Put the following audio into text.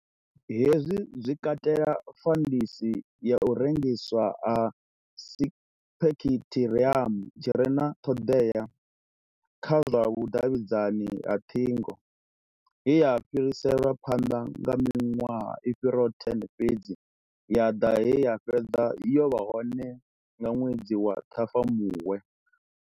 Hezwi zwi katela fandisi ya u rengiswa ha sipekiṱhiramu tshi re na ṱhoḓea kha lwa vhudavhidzani ha ṱhingo, ye ya fhiriselwa phanḓa nga miṅwaha i fhiraho10 fhedzi ya ḓa he ya fhedza yo vha hone nga ṅwedzi wa Ṱhafamuhwe.